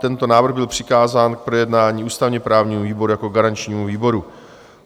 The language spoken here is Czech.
Tento návrh byl přikázán k projednání ústavně-právnímu výboru jako garančnímu výboru.